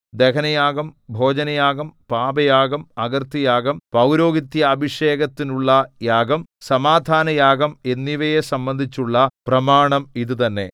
ദഹനയാഗം ഭോജനയാഗം പാപയാഗം അകൃത്യയാഗം പൌരോഹിത്യാഭിഷേകത്തിനുള്ളയാഗം സമാധാനയാഗം എന്നിവയെ സംബന്ധിച്ചുള്ള പ്രമാണം ഇതുതന്നെ